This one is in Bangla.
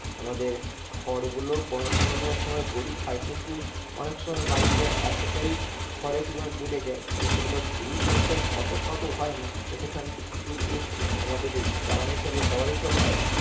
আমাদের খড় গুলো কোনো না কোনো সময় গরু খায় কিন্তু অনেক সময় বাড়িতে এতটাই খড়ের পরিমাণ বেড়ে যায়, তো সেগুলো গরুর পক্ষে অত খাওয়া তো ওখানে নাহ, তো সেখান থেকে কিছু কিছু আমাদের জ্বালানি হিসেবে ব্যবহৃত হয়